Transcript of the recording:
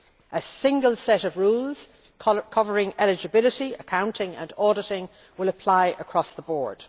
A single set of rules covering eligibility, accounting and auditing will apply across the board.